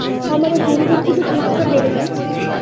আমাদের দিন দিন কিন্তু গুরুত্ব টা বেড়ে যাচ্ছে আর কি।